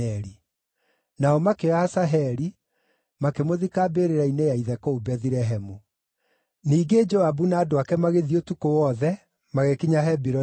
Nao makĩoya Asaheli, makĩmũthika mbĩrĩra-inĩ ya ithe kũu Bethilehemu. Ningĩ Joabu na andũ ake magĩthiĩ ũtukũ wothe, magĩkinya Hebironi gũgĩkĩa.